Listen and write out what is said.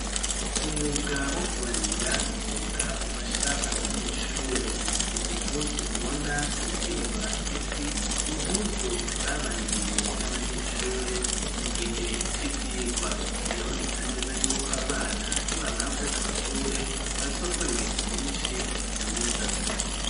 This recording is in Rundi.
Umwuga wo kubarira n'umwuga ufasha abanyeshure izi mpuzu mubona zo kwinonora imitsi n'impuzu zabaririwe n'abanyeshure mu gihe c'ivyirwa biraboneka neza yuko aba bana nibamara guheza amashure bazokora ibintu vyishi vyiza.